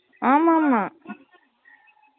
ஆமாம் ஆமாமா